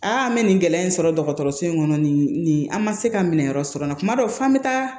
an bɛ nin gɛlɛya in sɔrɔ dɔgɔtɔrɔso in kɔnɔ nin an ma se ka minɛn wɛrɛ sɔrɔ n na kuma dɔ f'an bɛ taa